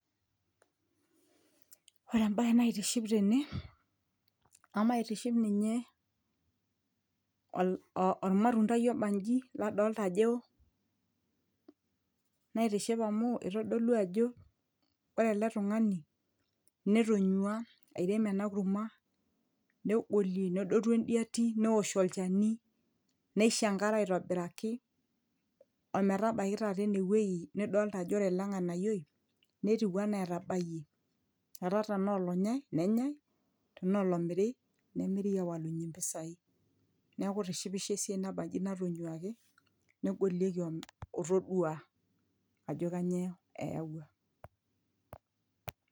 ore embaye naitiship tene emaitiship ninye ol ormatundai obanji ladolta ajo ewo naitishipa amu itodolu ajo ore ele tung'ani netonyua airem ena kurma negolie nedotu endiati newosh olchani neisho enkare aitobiraki ometabaiki taata enewueji nidolta ajo ore ele ng'anayioi netiu enaa atabayie etaa tenaa olonyae nenyae tenaa olomiri nemiri awalunyie impisai neeku itishipisho esiai nabanji natonyuaki negolieki otodua ajo kanyio eyawua.